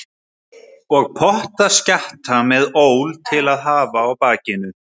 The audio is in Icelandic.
Og pokaskjatta með ól til að hafa á bakinu.